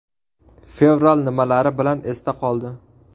Fevral nimalari bilan esda qoldi?.